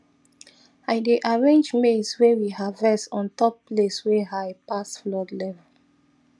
i dey arrange maize way we harvest on top place wey high pass flood level